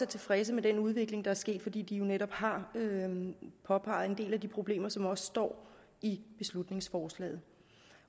tilfredse med den udvikling der er sket fordi de jo netop har påpeget en del af de problemer som står i beslutningsforslaget